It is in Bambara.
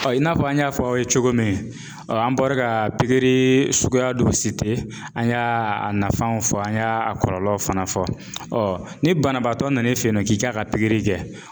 Ɔ i n'a fɔ an y'a fɔ aw ye cogo min an bɔra ka pikiri suguya dɔ an y'a nafanw fɔ an y'a kɔlɔlɔw fana fɔ ɔ ni banabaatɔ nan'i fɛ yen nɔ k'i k'a ka pikiri kɛ